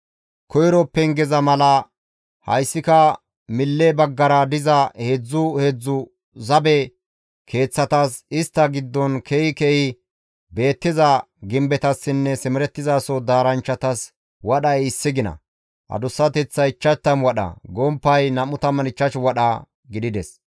Koyro pengeza mala hayssika mille baggara diza heedzdzu heedzdzu zabe keeththatas, istta giddon ke7i ke7i beettiza gimbetassinne simerettizaso daaranchchatas wadhay issi gina; adussateththay 50 wadha, gomppay 25 wadha gidides.